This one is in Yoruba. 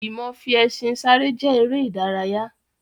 Ìmọ fi ẹṣin sáré jẹ́ ère ìdárayá.